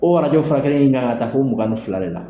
O arajo in furakɛli kan ka taa fɔ mugan ni fila de la.